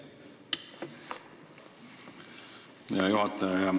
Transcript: Aitäh, hea juhataja!